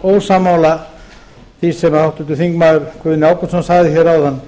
ósammála því sem háttvirtur þingmaður guðni ágústsson sagði hér áðan